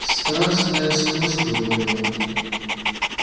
страстное сходство говорил он